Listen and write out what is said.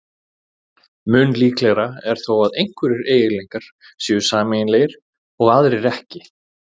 Mun líklegra er þó að einhverjir eiginleikar séu sameiginlegir og aðrir ekki.